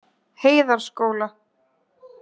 Heiðarskóla